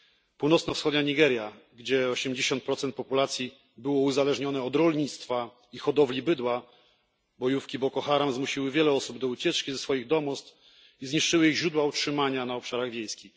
W północno wschodniej Nigerii, gdzie 80 populacji było uzależnione od rolnictwa i hodowli bydła, bojówki Boko Haram zmusiły wiele osób do ucieczki ze swoich domostw i zniszczyły źródła utrzymania na obszarach wiejskich.